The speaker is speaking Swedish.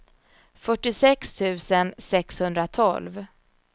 fyrtiosex tusen sexhundratolv